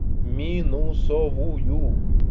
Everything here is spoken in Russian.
минусовую